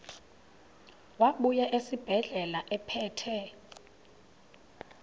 wabuya esibedlela ephethe